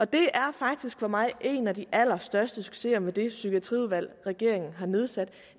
det er faktisk for mig en af de allerstørste succeser med det psykiatriudvalg regeringen har nedsat at